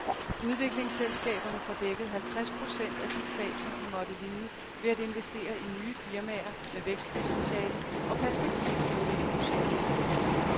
Udviklingsselskaberne får dækket halvtreds procent af de tab, som de måtte lide ved at investere i nye firmaer med vækstpotentiale og perspektivivrige projekter.